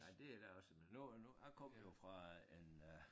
Ja det er da også men nu nu jeg kommer jo fra en øh